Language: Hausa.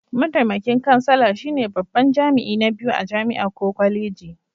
Mataimakin kansala shine babban jami'i na biyu a jami'a ko kwaleji.